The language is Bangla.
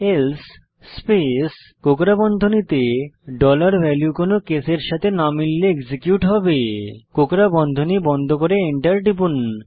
এলসে স্পেস কোকড়া বন্ধনীতে ডলার ভ্যালিউ কোনো কেসের সাথে না মিললে এটি এক্সিকিউট হবে কোকড়া বন্ধনী বন্ধ করে এন্টার টিপুন